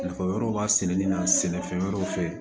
Nafa wɛrɛw b'a sɛnɛli la sɛnɛfɛn wɛrɛw fɛ